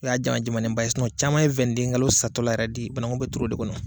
O y'a jama jamanen ba ye sinɔn caman ye wɛn ni de kalo satɔla yɛrɛ de ye bamangu be tuuru o de kɔnɔ